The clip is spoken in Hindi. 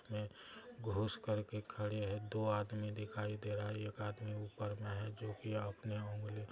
में घुस करके खड़े हैं दो आदमी दिखाई दे रहा है एक आदमी ऊपर में हैं जो की अपने उंगली --